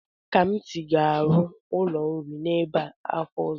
Kamsi ga-arụ ụlọ nri n'ebe a afọ ọzọ.